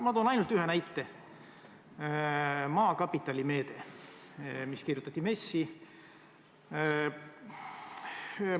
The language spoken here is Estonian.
Ma toon ainult ühe näite: Maakapitali meede, mis kirjutati MES-i meetmete hulka.